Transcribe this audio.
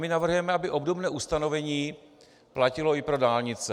My navrhujeme, aby obdobné ustanovení platilo i pro dálnice.